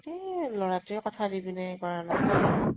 ইতে ই লʼৰাতোয়ে কথা দি পিনে হেই কৰা নাই।